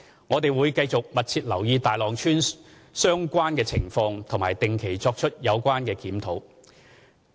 我們會繼續密切留意大浪村相關情況及定期作出有關檢討。